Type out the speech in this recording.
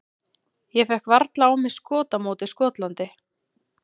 Ég fékk varla á mig skot á móti Skotlandi.